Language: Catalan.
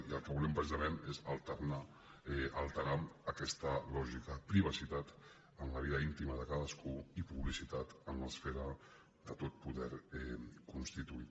i el que volem precisament és alterar aquesta lògica privacitat en la vida íntima de cadascú i publicitat en l’esfera de tot poder constituït